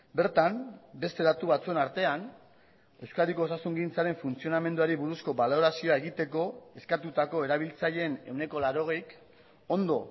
bertan beste datu batzuen artean euskadiko osasungintzaren funtzionamenduari buruzko balorazioa egiteko eskatutako erabiltzaileen ehuneko laurogeik ondo